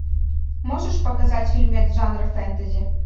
можешь показать фильмы жанра фэнтези